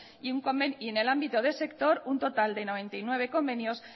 y en el ámbito de sector un total de noventa y nueve convenios